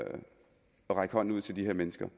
række hånden ud til de her mennesker